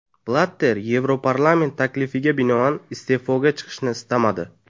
Blatter Yevroparlament taklifiga binoan iste’foga chiqishni istamadi.